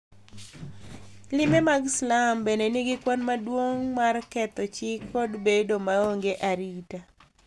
Limbe mag slum bende nigi kwan maduong' mar ketho chik kod bedo maonge arita,